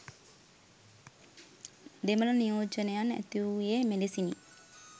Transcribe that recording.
දෙමළ නියෝජනයන් ඇතිවූයේ මෙලෙසිනි